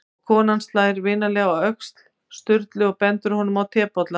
Og konan slær vinalega á öxl Sturlu og bendir honum á tebollann.